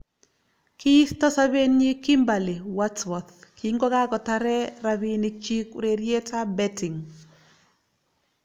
Kiisto sobenyi Kimberly Wadsworth kingokakotaree rabiinikchi urerietab betting .